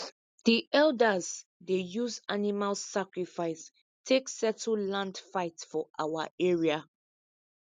the elders dey use animal sacrifice take settle land fight for our area